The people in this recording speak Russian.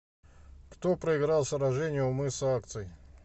кто проиграл сражение у мыса акций